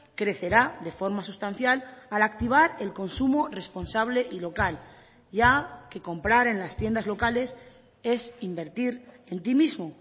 crecerá de forma sustancial al activar el consumo responsable y local ya que comprar en las tiendas locales es invertir en ti mismo